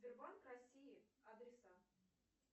сбербанк россии адреса